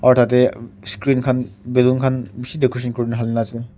aru tatey screen khan balloon khan bishi decoration kurina hali na ase.